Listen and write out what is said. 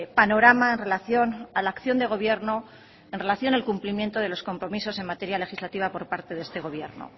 panorama en relación a la acción de gobierno en relación al cumplimiento de los compromisos en materia legislativa por parte de este gobierno